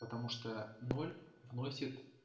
потому что ноль вносит